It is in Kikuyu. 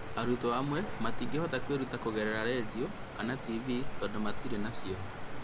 Arutwo amwe matingĩhota kwĩruta kũgerera redio kana tv tondũ matirĩ nacio